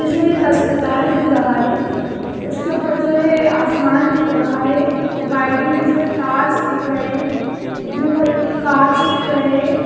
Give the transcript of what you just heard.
ये जो है एक अस्पताल दिख रहा है उसके ऊपर जो है आसमान दिख रहा है वायरिंग के जो है तार्स दिख रहे है ब्लू कलर के जो है कांच दिख रहे है।